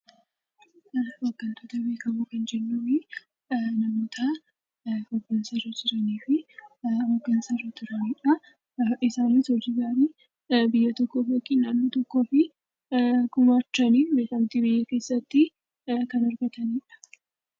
Hooggantoota bebbeekamoo kan jennuun, namoota hordoftoota qabanii fi biyya tokkootii gumaachan, beekamtii biyya keessaatiin kan abdatanidha.